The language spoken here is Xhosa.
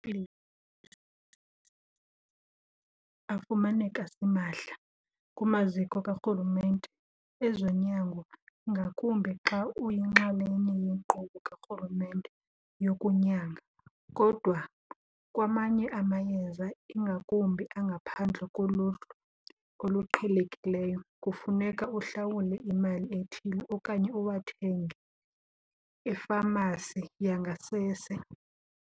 afumaneka simahla kumaziko karhulumente ezonyango, ngakumbi xa uyinxalenye yenkqubo karhulumente yokunyanga. Kodwa kwamanye amayeza, ingakumbi angaphandle koluhlu oluqhelekileyo, kufuneka uhlawule imali ethile okanye uwathenge efamasi yangasese.